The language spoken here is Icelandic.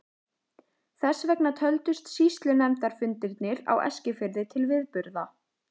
Þess vegna töldust sýslunefndarfundirnir á Eskifirði til viðburða.